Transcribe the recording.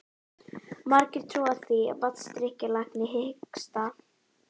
Margir trúa því að vatnsdrykkja lækni hiksta.